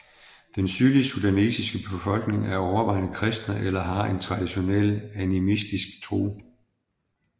Den sydlige sudanesiske befolkning er overvejende kristne eller har en traditionel animistiske tro